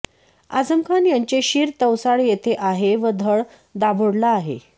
आझमखान यांचे शिर तवसाळ येथे आहे व धड दाभोळला आहे